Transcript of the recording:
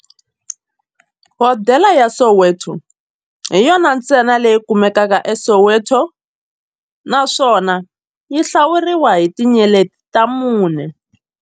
Hodela ya Soweto hi yona ntsena leyi kumekaka eSoweto, naswona yi hlawuriwa hi tinyeleti ta mune.